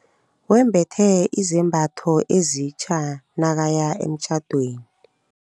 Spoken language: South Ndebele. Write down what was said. Wembethe izambatho ezitja nakaya emtjhadweni.